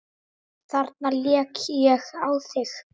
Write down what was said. Þarna lék ég á þig!